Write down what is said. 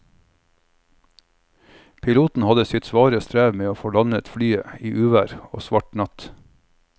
Piloten hadde sitt svare strev med å få landet flyet i uvær og svart natt.